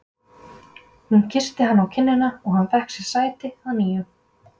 Hún kyssti hann á kinnina og hann fékk sér sæti að nýju.